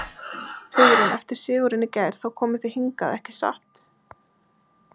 Hugrún: Eftir sigurinn í gær, þá komuð þið hingað, ekki satt?